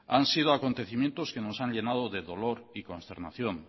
han sido acontecimientos que nos han llenado de dolor y consternación